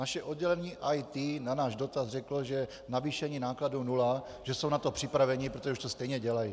Naše oddělení IT na náš dotaz řeklo, že navýšení nákladů nula, že jsou na to připraveni, protože už to stejně dělají.